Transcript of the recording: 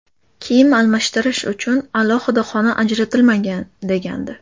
Kiyim almashtirish uchun alohida xona ajratilmagan,” degandi.